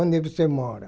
Onde você mora?